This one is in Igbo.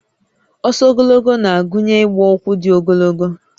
Ọsọ ogologo na-agụnye ịgba ụkwụ dị ogologo